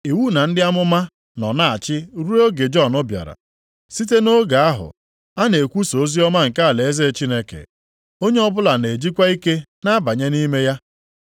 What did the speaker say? “Iwu na ndị amụma nọ na-achị ruo oge Jọn bịara. Site nʼoge ahụ, a na-ekwusa oziọma nke alaeze Chineke, onye ọbụla na-ejikwa ike na-abanye nʼime ya.